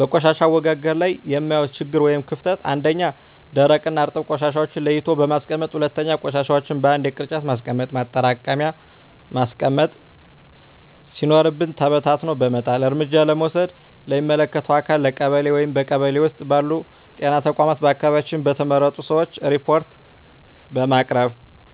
በቆሻሻ አወጋገድ ላይ የማየው ችግር ወይም ክፍተት 1ኛ, ደረቅና እርጥብ ቆሻሻዎችን ለይቶ ባለማስቀመጥ 2ኛ, ቆሻሻዎችን በአንድ የቅርጫት ማስቀመጫ ማጠራቀሚያ ማስቀመጥ ሲኖርብን በታትኖ በመጣል። እርምጃ ለመውሰድ ለሚመለከተው አካል ለቀበሌ ,በቀበሌ ውስጥ ባሉ ጤና ተቋማት በአካባቢያችን በተመረጡ ሰዎች ሪፓርት በማቅረብ።